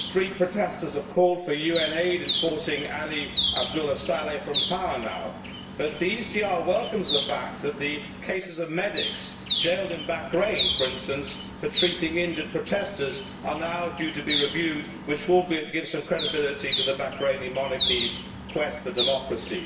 Street protestors have called for UN aid in forcing Ali Abdullah Saleh from power now, but the ECR welcomes the fact that the cases of medics jailed in Bahrain for instance for treating injured protestors are now due to be reviewed, which will give some credibility to the Bahraini Monarchy's quest for democracy.